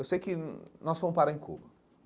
Eu sei que nós fomos parar em Cuba.